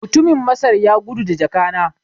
Mutumin Masar ya gudu da jaka na